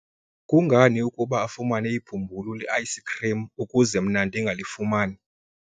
kungani ukuba afumane ibhumbulu le-ayisikhrim ukuze mna ndingalifumani?